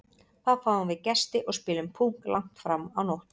Þá fáum við gesti og spilum Púkk langt fram á nótt.